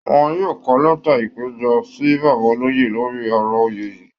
Wọ́n yóò kọ lẹ́ta ìpẹ̀jọ́ sí bàbá olóyè lórí ọ̀rọ̀ oyè yìí